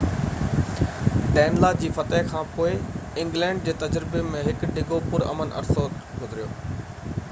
ڊينلا جي فتح کان پوءِ انگلينڊ جي تجربي ۾ هڪ ڊگهو پُر امن عرصو گذريو